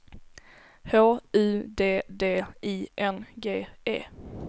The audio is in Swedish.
H U D D I N G E